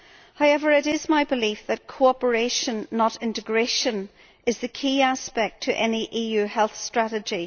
However, it is my belief that cooperation, not integration, is the key aspect to any EU health strategy.